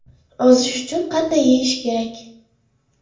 Ozish uchun qanday yeyish kerak?.